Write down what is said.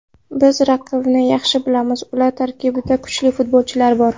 Biz raqibni yaxshi bilamiz, ular tarkibida kuchli futbolchilar bor.